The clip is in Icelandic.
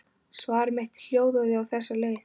Svar mitt hljóðaði á þessa leið